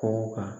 Kɔnkɔ kan